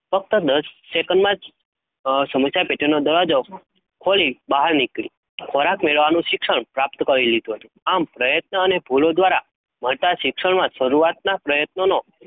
ફકત દસ સેકન્ડ માં જ સમસ્યા પેટી નો દરવાજો ખોલી બહાર નીકળી ખોરાક, મેળવવાનું સિક્ષ્ણ પ્રાપ્ત કરી લીધું હતું, આમ પ્રયત્ન અને ભુલો દ્વારા, મળતાં સિક્ષન શરૂઆતમાં દિવસોનો,